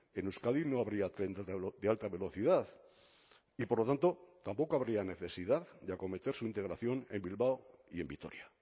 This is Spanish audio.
en euskadi no habría tren de alta velocidad y por lo tanto tampoco habría necesidad de acometer su integración en bilbao y en vitoria